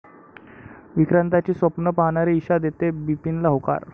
विक्रांतची स्वप्नं पाहणारी ईशा देते बिपिनला होकार